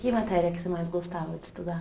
Que matéria que você mais gostava de estudar?